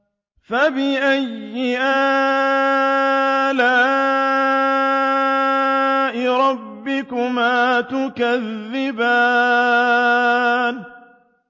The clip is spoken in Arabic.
فَبِأَيِّ آلَاءِ رَبِّكُمَا تُكَذِّبَانِ